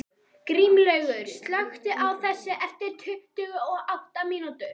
Grímlaugur, slökktu á þessu eftir tuttugu og átta mínútur.